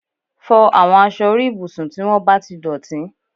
Fọ àwọn aṣọ orí ibùsùn tí wọ́n bá ti dọ̀tí